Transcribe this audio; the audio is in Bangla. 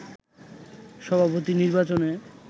সভাপতি নির্বাচনে